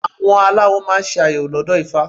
Àwọn baba aláwo máa ń ṣe àyẹ̀wò lọ́dọ̀ ifá.